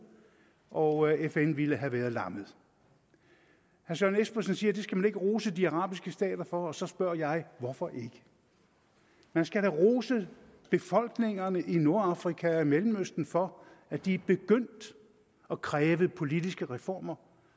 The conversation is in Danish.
og fn ville have været lammet herre søren espersen siger at det skal man ikke rose de arabiske stater for og så spørger jeg hvorfor ikke man skal da rose befolkningerne i nordafrika og i mellemøsten for at de er begyndt at kræve politiske reformer